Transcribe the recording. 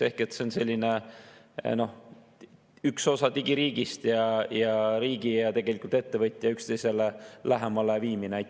Ehk see on selline üks osa digiriigist, riigi ja ettevõtja üksteisele lähemale viimine.